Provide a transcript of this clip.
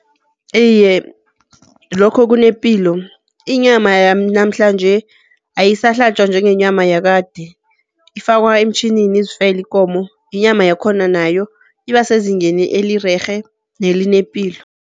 Iye, lokho kunepilo. Inyama yanamhlanje ayisahlatjwa njengenyama yakade, ifakwa emtjhinini izifele ikomo. Inyama yakhona nayo iba sezingeni elirerhe nelinepilo.